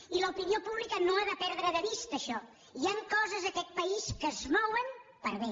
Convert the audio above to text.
i l’opinió pública no ha de perdre de vista això hi han coses a aquest país que es mouen per a bé